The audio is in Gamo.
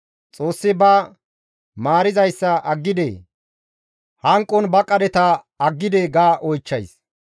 Xoossi ba maarizayssa aggidee? Hanqon ba qadheta aggidee?» ga oychchays.